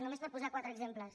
només per posar ne quatre exemples